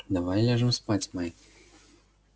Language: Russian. давай ляжем спать майк